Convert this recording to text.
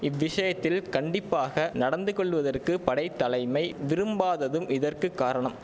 இவ்விஷயத்தில் கண்டிப்பாக நடந்து கொள்வதற்கு படைத்தலைமை விரும்பாததும் இதற்கு காரணம்